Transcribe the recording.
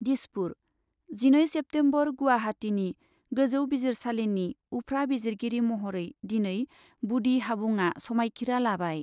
दिसपुर, जिनै सेप्तेम्बर गुवाहाटीनि गोजौ बिजिरसालिनि उफ्रा बिजिरगिरि महरै दिनै बुदि हाबुंआ समायखिरा लाबाय।